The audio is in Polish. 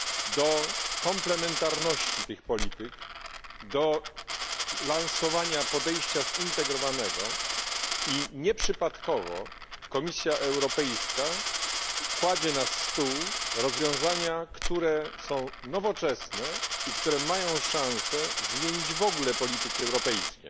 do komplementarności tych polityk, do lansowania podejścia zintegrowanego, i nieprzypadkowo Komisja Europejska kładzie na stół rozwiązania, które są nowoczesne i które mają szanse zmienić w ogóle polityki europejskie.